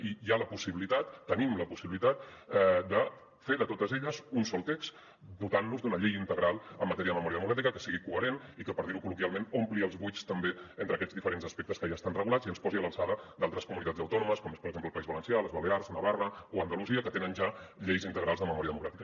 i hi ha la possibilitat tenim la possibilitat de fer de totes elles un sol text dotant nos d’una llei integral en matèria de memòria democràtica que sigui coherent i que per dir ho col·loquialment ompli els buits també entre aquests diferents aspectes que ja estan regulats i ens posi a l’alçada d’altres comunitats autònomes com són per exemple el país valencià les balears navarra o andalusia que tenen ja lleis integrals de memòria democràtica